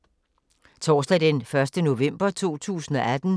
Torsdag d. 1. november 2018